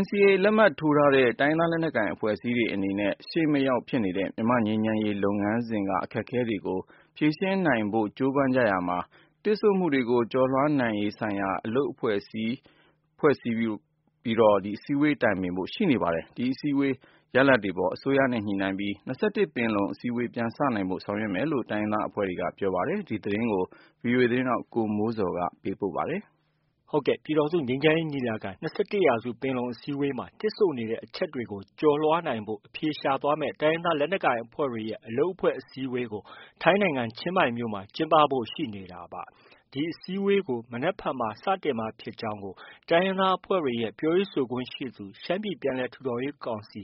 NCA လက်မှတ်ထိုးထားတဲ့ တိုင်းရင်းသားလက်နက်ကိုင်အဖွဲ့အစည်းတွေအနေနဲ့ ရှေ့မရောက်ဖြစ်နေတဲ့ မြန်မာ့ငြိမ်းချမ်းရေးလုပ်ငန်းစဉ်က အခက်အခဲတွေကို ဖြေရှင်းနိုင်ဖို့ ကြိုးပမ်းနေကြရာမှာ၊ တစ်ဆို့မှုကျော်လွှားရေးဆိုင်ရာအလုပ်အဖွဲ့အစည်းဆိုပြီး စည်းဝေးတိုင်ပင်ဖို့ရှိနေပါတယ်။ ဒီ အစည်းအဝေး ရလဒ်တွေအပေါ် အစိုးရနဲ့ ညှိပြီး ၂၁ ပင်လုံအစည်းအဝေး ပြန်စနိုင်ဖို့ ဆောင်ရွက်မယ်လို့ တိုင်းရင်းသားအဖွဲ့တွေက ပြောပါတယ်။ ဒီသတင်းကိုတော့ ဗွီအိုအေမြန်မာပိုင်းရဲ့ သတင်းထောက် ကိုမိုးဇော်က တင်ပြထားပါတယ်။ ပြည်ထောင်စုငြိမ်းချမ်းရေးညီလာခံ- ၂၁ရာစုပင်လုံအစည်းအဝေးမှာ တစ်ဆို့နေတဲ့ အချက်တွေကို ကျော်လွှားနိုင်ဖို့ အဖြေရှာသွားမယ့် တိုင်းရင်းသားလက်နက်ကိုင်အဖွဲ့တွေရဲ့ အလုပ်အဖွဲ့ အစည်းအဝေးကို ထိုင်းနိုင်ငံ ချင်းမိုင်မြို့မှာ ကျင်းပဖို့ ရှိနေတာပါ။ ဒီအစည်းအဝေးကို မနက်ဖြန်မှာ စတင်မှာဖြစ်ကြောင်းကို တိုင်းရင်းသားအဖွဲ့တွေရဲ့ ပြောရေးဆိုခွင့်ရှိသူ၊ရှမ်းပြည်ပြန်လည်ထူထောင်ရေးကောင်စီ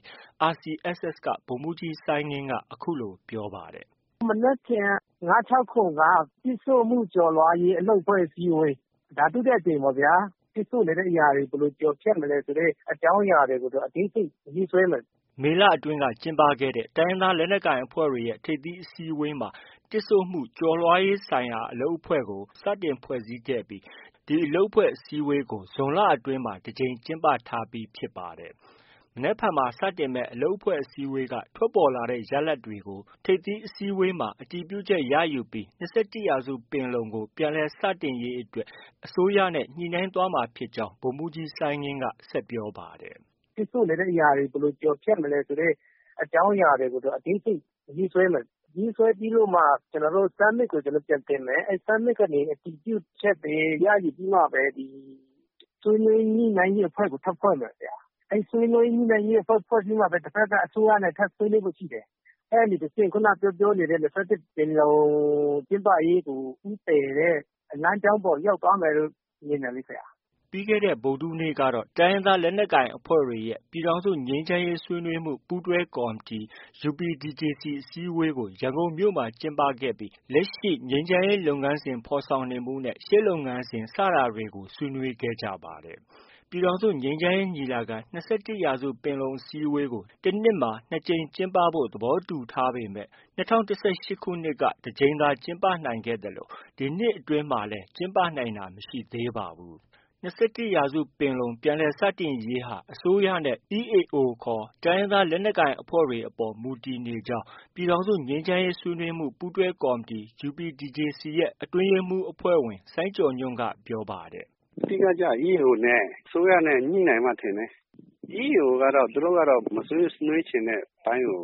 RCSS က ဗိုလ်မှုးကြီး စိုင်းငင်းက အခုလို ပြောပါတယ်။ “ မနက်ဖြန် ၅-၆-၇ က တစ်ဆို့မှုကျော်လွှားရေး အလုပ်အဖွဲ့အစည်းဝေး။ ဒါ ဒုတိယအကြိမ်ပေါ့ဗျာ။ တစ်ဆို့နေတဲ့အရာတွေ ဘယ်လို ကျော်ဖြတ်မလဲ ဆိုတဲ့ အကြောင်းအရာကို အသေးစိတ်ရေးဆွဲမယ်။” မေလအတွင်းက ကျင်းပတဲ့ တိုင်းရင်းသားလက်နက်ကိုင်အဖွဲ့တွေရဲ့ ထိပ်သီးအစည်းအဝေးမှာ တစ်ဆို့မှု ကျော်လွှားရေးဆိုင်ရာအလုပ်အဖွဲ့ကို စတင် ဖွဲ့စည်းပြီး ဒီအလုပ်အဖွဲ့အစည်းအဝေးတွေကို ဇွန်လအတွင်းမှာ တစ်ကြိမ်ကျင်းပထားပြီးဖြစ်ပါတယ်။ မနက်ဖြန်မှာ စတင်မယ့် အလုပ်အဖွဲ့အစည်းအဝေးက ထွက်ပေါ်လာတဲ့ ရလဒ်တွေကို ထိပ်သီးအစည်းအဝေးမှာ အတည်ပြုချက်ရယူပြီး ၂၁ရာစုပင်လုံကို ပြန်လည်စတင်ရေးအတွက် အစိုးရနဲ့ ညှိနှိုင်းသွားမှာဖြစ်ကြောင်း ဗိုလ်မှုးကြီး စိုင်းငင်းက ဆက်ပြောပါတယ်။ “တစ်ဆို့နေတဲ့အရာတွေ ဘယ်လို ကျော်ဖြတ်မလဲ ဆိုတဲ့ အကြောင်းအရာကို အသေးစိတ်ရေးဆွဲမယ်။ ရေးဆွဲပြီးတော့မှ summit ကို ပြန်တင်မယ်။ summit ကနေ အတည်ပြုချက်တွေ ရယူပြီးမှပဲ ဆွေးနွေးညှိနှိုင်းရေးအဖွဲ့ကို ထပ်ဖွဲ့မယ်။ အဲဒီ ဆွေးနွေးညှိနှိုင်းရေးအဖွဲ့ဖွဲ့ပြီးမှပဲ တဘက်က အစိုးရနဲ့ ညှိနှိုင်းဖို့ ရှိတယ်။ အဲဒီတစ်ဆင့်(က) ခုနက ပြောပြောနေတဲ့ ၂၁ပင်လုံ ကျင်းပရေးကို ဦးတည်တဲ့ လမ်းကြောင်းပေါ်ကို ရောက်သွားမယ်ထင်တယ်။ ” ပြီးခဲ့တဲ့ ဗုဒ္ဓဟူးနေ့ကတော့ တိုင်းရင်းသားလက်နက်ကိုင်အဖွဲ့တွေရဲ့ ပြည်ထောင်စု ငြိမ်းချမ်းရေးဆွေးနွေးမှု ပူးတွဲကော်မတီ UPDJC အစည်းအဝေးကို ရန်ကုန်မြို့မှာ ကျင်းပခဲ့ပြီး လက်ရှိ ငြိမ်းချမ်းရေးလုပ်ငန်းစဉ်ဖော်ဆောင်နေမှုနဲ့ ရှေ့လုပ်ငန်းစဉ် စတာတွေကို ဆွေးနွေးခဲ့ကြပါတယ်။ ပြည်ထောင်စုငြိမ်းချမ်းရေးညီလာခံ-၂၁ရာစုပင်လုံအစည်းဝေးကို တနှစ်မှာ ၂ကြိမ်ကျင်းပဖို့ သဘောတူထားပေမဲ့ ၂၀၁၈ခုနှစ်က တစ်ကြိမ်သာကျင်းပ နိုင်ခဲ့သလို ဒီနှစ်အတွင်းမှာတော့ ကျင်းပနိုင်တာမရှိသေးပါဘူး။ ၂၁ရာစုပင်လုံ ပြန်လည်စတင်နိုင်ရေးဟာ အစိုးရနဲ့ EAO ခေါ် တိုင်းရင်းသားလက်နက်ကိုင်အဖွဲ့တွေအပေါ် မူတည်နေကြောင်း ပြည်ထောင်စုငြိမ်းချမ်းရေးဆွေးနွေးမှု ပူးတွဲကော်မတီ UPDJC အတွင်းရေးမှူးအဖဲ့ွဝင် စိုင်းကျော်ညွှန့်က ပြောပါတယ်။ “ အဓိက ကျတာ EAO နဲ့ အစိုးရ ညှိနိုင်မှ ထင်တယ်။ EAO ကတော့ သူတို့ကတော့ မဆွေးနွေးချင်တဲ့အပိုင်းကို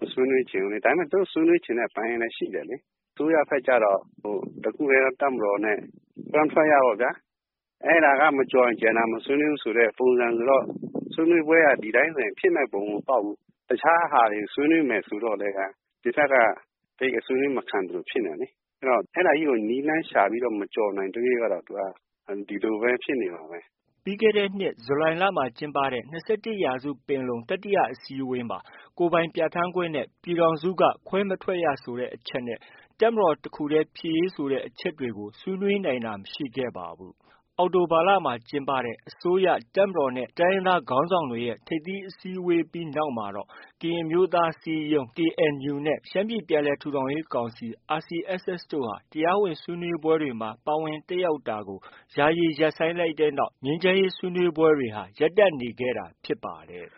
မဆွေးနွေးချင်ဘူးလေ။ ဒါပေမဲ့ သူတို့ ဆွေးနွေးချင်တဲ့ ပိုင်းလည်း ရှိတယ်လေ။ အစိုးရဘက်ကျတော့ တစ်ခုတည်းသော တပ်မတော်နဲ့ ခွဲမထွက်ရပေါ့ဗျာ။ အဲဒါက မကျော်ရင် မဆွေးနွေးဘူးဆိုတဲ့ ပုံစံဆိုတော့ ဆွေးနွေးပွဲက ဒီအတိုင်းဆို ဖြစ်မယ့် ပုံမပေါက်ဘူး။ တစ်ခြားဟာတွေ ဆွေးနွေးမယ် ဆိုတော့လည်း ဒီဘက်က ဆွေးနွေးမခံသလို ဖြစ်နေတာလေ။ အဲတော့ အဲဒါကြီးကို နည်းလမ်းရှာပြီး မကျော်နိုင်သ၍ကတော့ သူက ဒီလိုပဲ ဖြစ်နေမှာပဲ။ ” ပြီးခဲ့တဲ့နှစ် ဇူလိုင်လမှာ ကျင်းပတဲ့ ၂၁ရာစုပင်လုံ တတိယအစည်းအဝေးမှာ ကိုယ်ပိုင်ပြဌာန်းခွင့်နဲ့ ပြည်ထောင်စုက ခွဲမထွက်ရဆိုတဲ့ အချက်နဲ့ တပ်မတော်တခုတည်းဖြစ်ရေးဆိုတဲ့အချက်တွေကို ဆွေးနွေးနိုင်တာ မရှိခဲ့ပါဘူး။ အောက်တိုဘာလမှာ ကျင်းပတဲ့ အစိုးရ၊ တပ်မတော်နဲ့ တိုင်းရင်းသားခေါင်းဆောင်တွေရဲ့ ထိပ်သီးဆွေးနွေးပွဲပြီးနောက်မှာတော့ ကရင်အမျိုးသားအစည်းအရုံး KNU နဲ့ ရှမ်းပြည်ပြန်လည်ထူထောင်ရေးကောင်စီ RCSS တို့ တရားဝင်ဆွေးနွေးပွဲတွေမှာ ပါဝင်တက်ရောက်တာကို ယာယီရပ်ဆိုင်းလိုက်တဲ့နောက်မှာ ဆွေးနွေးပွဲတွေဟာ ရပ်တန့်နေခဲ့တာဖြစ်ပါတယ်